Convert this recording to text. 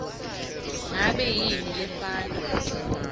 ngabe yini lefana